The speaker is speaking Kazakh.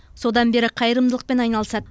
содан бері қайырымдылықпен айналысады